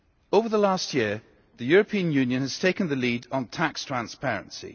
Over the last year, the European Union has taken the lead on tax transparency.